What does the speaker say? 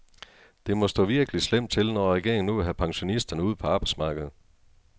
Det må stå virkelig slemt til, når regeringen nu vil have pensionisterne ud på arbejdsmarkedet.